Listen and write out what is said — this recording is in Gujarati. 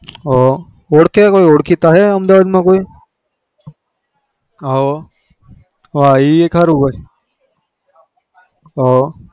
હ ઓળ્કે ઓળખીતા હ અમદાવાદ માં કોઈ